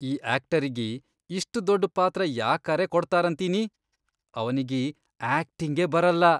ಈ ಆಕ್ಟರಿಗಿ ಇಷ್ಟ್ ದೊಡ್ಡ್ ಪಾತ್ರ ಯಾಕರೇ ಕೊಡ್ತಾರಂತೀನಿ. ಅವನಿಗಿ ಆಕ್ಟಿಂಗೇ ಬರಲ್ಲಾ.